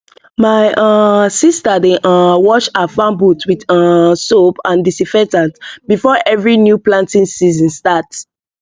my um sister dey um wash her farm boot with um soap and disinfectant before every new planting season start